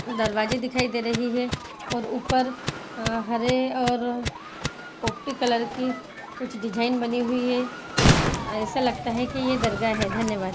दरवाजे दिखाई दे रहे है और ऊपर हरे और कुछ डिजाइन बनी हुई है ऐसा लगता हैकी ये दरगाह है धन्यवाद।